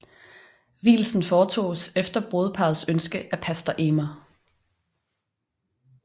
Vielsen foretoges efter brudeparrets ønske af pastor emer